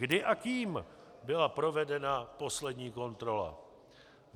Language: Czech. Kdy a kým byla provedena poslední kontrola?